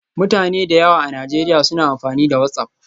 Mutane da yawa a Najeriya suna amfani da WhatsApp.